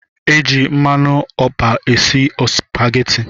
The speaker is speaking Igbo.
E ji mmanụ ọpa esi ospaghetti